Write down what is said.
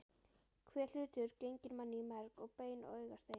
Hver hlutur genginn manni í merg og bein og augastein.